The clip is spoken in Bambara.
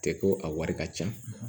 Tɛ ko a wari ka ca